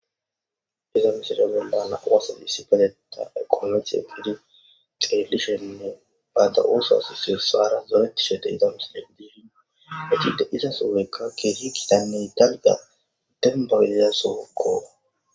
iza misilegelana wasa di sipateta eqologie gidi xrelishionne baada ooso as seye saara zoretishede iza misilo diidio egide iza sogeykka kehikidanne italga dembawelya sookko